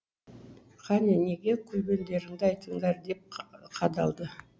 қане неге күлгендеріңді айтыңдар деп қадалды